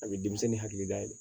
A bɛ denmisɛnnin hakili da yɛlɛ